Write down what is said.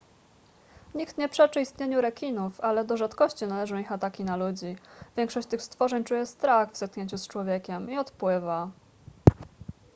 nikt nie przeczy istnieniu rekinów ale do rzadkości należą ich ataki na ludzi większość tych stworzeń czuje strach w zetknięciu z człowiekiem i odpływa